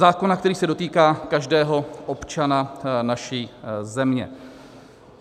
Zákona, který se dotýká každého občana naší země.